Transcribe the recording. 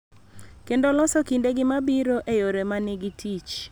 Kendo loso kindegi mabiro e yore ma nigi tich.